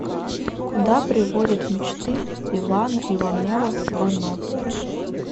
куда приводят мечты ивана иванова вано